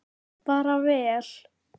Bara vel.